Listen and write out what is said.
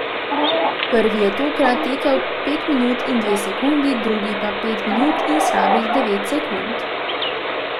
Prvi je tokrat tekel pet minut in dve sekundi, drugi pa pet minut in slabih devet sekund.